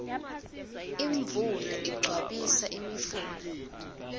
imvula igcwabisa imifula